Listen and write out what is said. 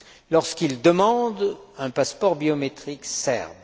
lorsqu'elles demandent un passeport biométrique serbe.